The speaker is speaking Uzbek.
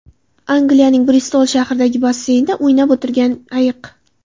Angliyaning Bristol shahridagi basseynda o‘ynab o‘tirgan ayiq.